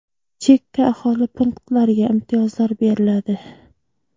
chekka aholi punktlariga imtiyozlar beriladi.